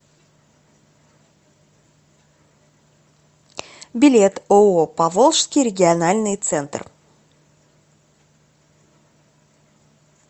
билет ооо поволжский региональный центр